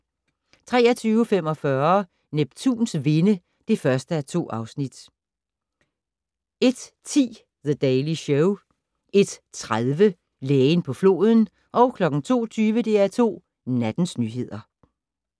23:45: Neptuns vinde (1:2) 01:10: The Daily Show 01:30: Lægen på floden 02:20: DR2 Nattens nyheder